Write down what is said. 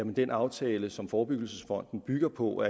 den aftale som forebyggelsesfonden bygger på